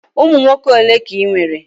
Ụmụ nwoke ole ka ị nwere?